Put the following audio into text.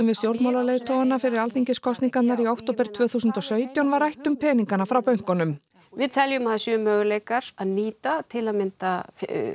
við stjórnmálaleiðtogana fyrir Alþingiskosningarnar í október tvö þúsund og sautján var rætt um peningana frá bönkunum við teljum að það séu möguleikar að nýta til að mynda